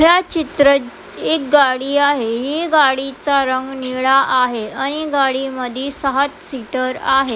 ह्या चित्रात एक गाडी आहे हि गाडीचा रंग निळा आहे आणि गाडी मदी सात सीटर आहे.